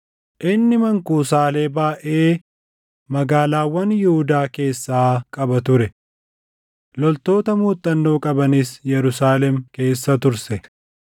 inni mankuusaalee baayʼee magaalaawwan Yihuudaa keessaa qaba ture. Loltoota muuxannoo qabanis Yerusaalem keessa turse.